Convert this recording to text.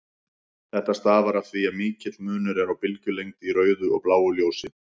Þetta stafar af því að mikill munur er á bylgjulengd í rauðu og bláu ljósi.